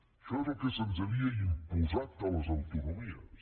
això és el que se’ns havia imposat a les autonomies